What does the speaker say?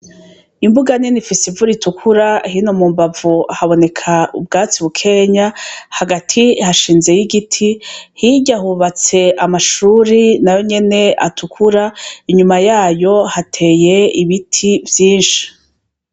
Imbuga nini Ifis’ivu ritukura, hino mu mbavu haboneka ubwatsi bukenya , hagati hashinze y'igiti hirya hubatse amashuri nayo nyene atukura inyuma yayo hateye ibiti vyinshi.